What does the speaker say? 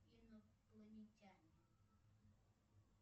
инопланетянин